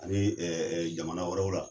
Ani jamana wɛrɛw la.